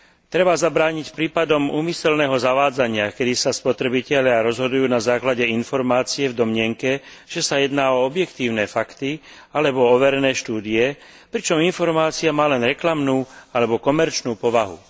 Treba zabrániť prípadom úmyselného zavádzania, keď sa spotrebitelia rozhodujú na základe informácií v domnienke, že sa jedná o objektívne fakty alebo o overené štúdie, pričom informácia má len reklamnú alebo komerčnú povahu.